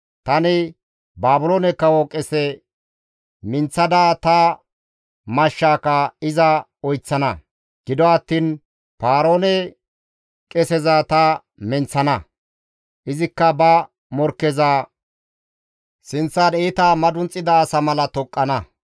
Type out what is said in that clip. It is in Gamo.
Tani Baabiloone kawo qese minththada ta mashshaaka iza oyththana. Gido attiin Paaroone qeseza ta menththana; izikka ba morkkeza sinththan iita madunxida asa mala toqqana.